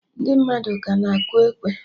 Ndị mmadụ ka na akụ ekwe